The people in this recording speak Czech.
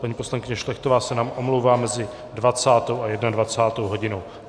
Paní poslankyně Šlechtová se nám omlouvá mezi 20. a 21. hodinou.